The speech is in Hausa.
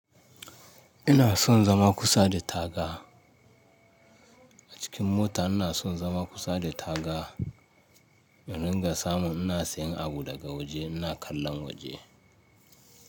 Ina son zama kusa da taga. A cikin mota ina son zama kusa da taga. In ringa samu ina siyan abu daga waje ina kallon waje.